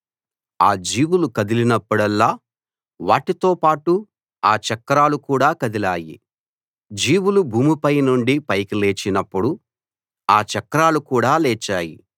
ఆ జీవులు కదిలినప్పుడల్లా వాటితో పాటు ఆ చక్రాలు కూడా కదిలాయి జీవులు భూమి పై నుండి పైకి లేచినప్పుడు ఆ చక్రాలు కూడా లేచాయి